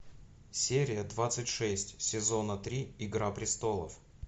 серия двадцать шесть сезона три игра престолов